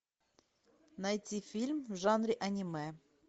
найти фильм в жанре аниме